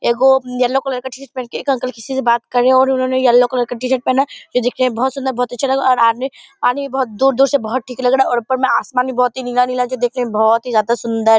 एगो yellow colour का t-shirt पहनकर एक अंकल किसी से बात कर रहे हैं और उन्होंने येलो कलर का टी-शर्ट पहना है ये देखने में बहुत सुंदर बहुत अच्छे लग रहे और आदमी पानी भी बहुत दूर-दूर से बहुत लग रहा और आसमान भी नीला नीला देखने में बहुत ही ज्यादा सुंदर --